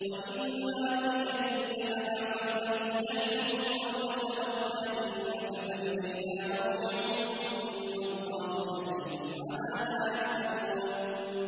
وَإِمَّا نُرِيَنَّكَ بَعْضَ الَّذِي نَعِدُهُمْ أَوْ نَتَوَفَّيَنَّكَ فَإِلَيْنَا مَرْجِعُهُمْ ثُمَّ اللَّهُ شَهِيدٌ عَلَىٰ مَا يَفْعَلُونَ